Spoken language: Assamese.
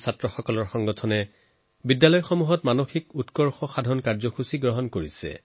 কিছুমান স্কুলৰ অল্ড ষ্টুডেণ্ট এছচিয়েচনে মেণ্টৰশ্বিপ প্ৰগ্ৰেমছ আৰম্ভ কৰিছে